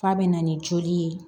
F'a bɛ na ni joli ye